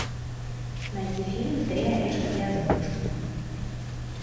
найти фильм три орешка для золушки